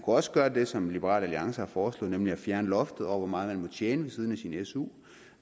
også gøre det som liberal alliance har foreslået nemlig fjerne loftet over hvor meget man må tjene ved siden af sin su